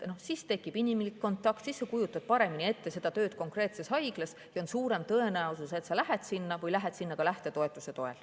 Siis tekib inimlik kontakt, siis sa kujutad paremini ette tööd konkreetses haiglas ja on suurem tõenäosus, et sa lähed sinna, ehk ka lähtetoetuse toel.